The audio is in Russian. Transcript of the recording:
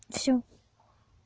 все